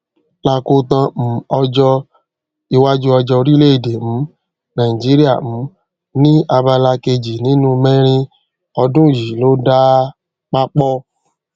lakotan um ọjọ iwájú ọjà orileede um nàìjíríà um ni abala kejì nínú mẹrin ọdún yìí ló dá papọ